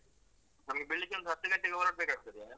ನಮ್ಗೆ ಬೆಳಿಗ್ಗೆ ಒಂದು ಹತ್ತು ಗಂಟೆಗೆ ಹೊರಡ್ಬೇಕಾಗ್ತದೆ.